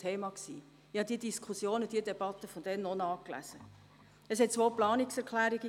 Zu dieser Sparmassnahme in der Höhe von 10 Mio. Franken gab es zwei Planungserklärungen: